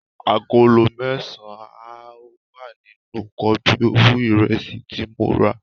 Agolo mẹ́sàn-án ni ó wà nínú kobíowú ìresì tí mo rà.